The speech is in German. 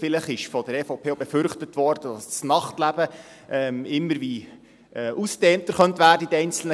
Vielleicht wurde von der EVP auch befürchtet, dass das Nachtleben in den einzelnen Gemeinden immer mehr ausgedehnt werden könnte.